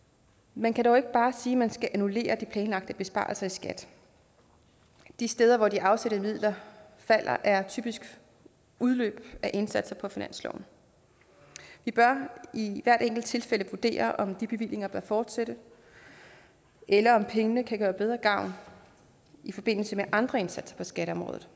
man kan dog ikke bare sige at man skal annullere de planlagte besparelser i skat de steder hvor de afsatte midler falder er typisk udløb af indsatser på finansloven vi bør i hvert enkelt tilfælde vurdere om de bevillinger bør fortsætte eller om pengene kan gøre bedre gavn i forbindelse med andre indsatser på skatteområdet